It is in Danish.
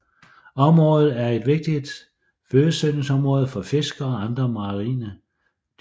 Området er et vigtigt fødesøgningsområde for fisk og andre marine dyr